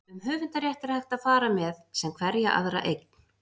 um höfundarrétt er hægt að fara með sem hverja aðra eign